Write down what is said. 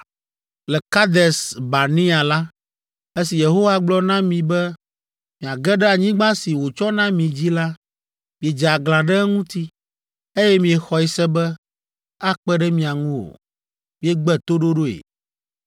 Le Kades Barnea la, esi Yehowa gblɔ na mi be miage ɖe anyigba si wòtsɔ na mi dzi la, miedze aglã ɖe eŋuti, eye miexɔe se be akpe ɖe mia ŋu o. Miegbe toɖoɖoe.